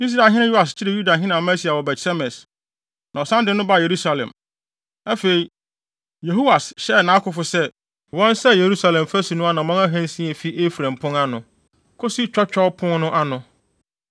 Israelhene Yoas kyeree Yudahene Amasia wɔ Bet-Semes, na ɔsan de no baa Yerusalem. Afei, Yehoas hyɛɛ nʼakofo sɛ, wɔnsɛe Yerusalem fasu no anammɔn ahansia a efi Efraim Pon ano, kosi Twɔtwɔw Pon no ano.